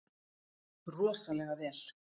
Rosalega vel.